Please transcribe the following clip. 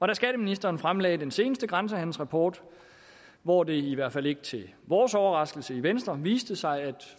da skatteministeren fremlagde den seneste grænsehandelsrapport hvor det i hvert fald ikke til vores overraskelse i venstre viste sig at